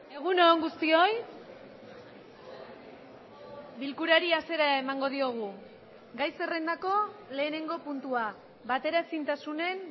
egun on guztioi bilkurari hasiera emango diogu gai zerrendako lehenengo puntua bateraezintasunen